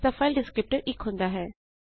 ਇਸਦਾ file descriptor 1 ਹੁੰਦਾ ਹੈ